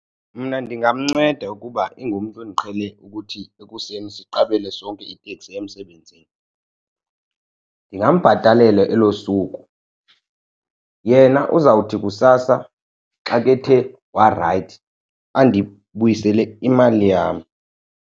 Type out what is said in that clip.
Mna ndingamnceda ukuba ingumntu endiqhele ukuthi ekuseni siqabele sonke iteksi emsebenzini. Ndingambhatalela elo suku yena uzawuthi kusasa xa kethe warayithi andibuyisele imali yam.